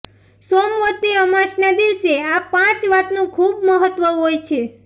સોમવતી અમાસના દિવસે આ પાંચ વાતનું ખૂબ મહત્ત્વ હોય છે